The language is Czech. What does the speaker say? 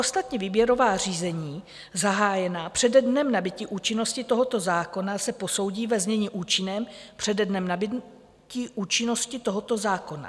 Ostatní výběrová řízení zahájená přede dnem nabytí účinnosti tohoto zákona se posoudí ve znění účinném přede dnem nabytí účinnosti tohoto zákona.